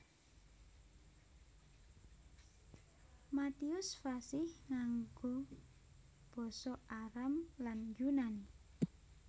Matius fasih nganggo basa Aram lan Yunani